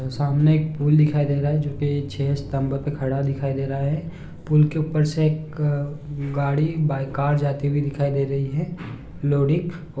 सामने एक पूल दिखाई दे रहा है जोकी छः स्तम्भ पर खड़ा दिखाई दे रहा हैं पूल के ऊपर से एक गाड़ी बाइक कार जाती दिखाई दे रही है।